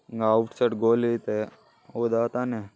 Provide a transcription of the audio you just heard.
Outside ಗೋಲಿ ಅಯ್ತೆ ಹೌದಾ ತಾನೇ.